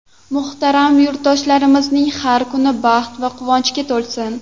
Muhtaram yurtdoshlarimizning har kuni baxt va quvonchga to‘lsin.